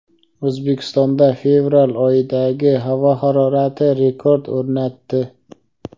O‘zbekistonda fevral oyidagi havo harorati rekord o‘rnatdi.